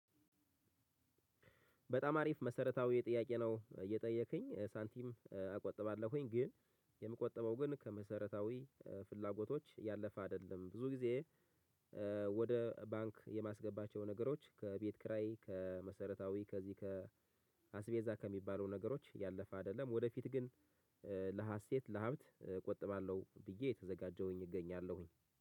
በጣም አሪፍ መሰረታዊ ጥያቄ ነው እየጠየከኝ ሳንቲም አቆጥባለሁኝ ግን የምቆጥበው ግን ከመሰረታዊ ፍላጎቶች ያለፈ አይደለም ብዙ ጊዜ። ወደ ባንክ የማስገባቸው ነገሮች ከቤት ክራይ ከመሰረታዊ ከዚህ ከአስቤዛ ከሚባሉ ነገሮች ያለፈ አይደለም ወደፊት ግን ለሀሴት ለሀብት እቆጥባለሁ ብዬ የተዘጋጀሁኝ እገኛለሁኝ።